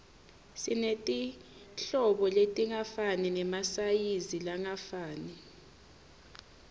simetirhlobo letingafani nemasayizilangafani